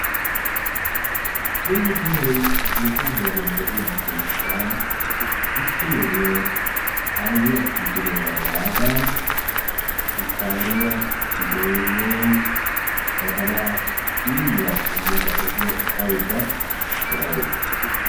Zine guuran nuuga heeran de'iyaa keetta issi na'iyo aayiyya kiittidoora yaada shukkaariya, boynaa, badalaa, xiilliyaa shammada efaydda de'awusu.